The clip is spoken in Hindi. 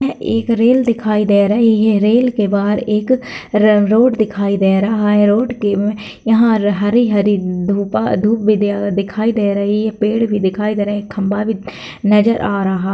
यह एक रेल दिखाई दे रही है रेल के बाहर एक र-रोड दिखाई दे रहा है रोड में यहाँ हरी-हरी धूपा-धूप भी दे दिखाई दे रही है पेड़ भी दिखाई दे रहे एक खंभा भी नजर आ रहा --